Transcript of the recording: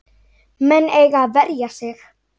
Menn eiga að verja sig.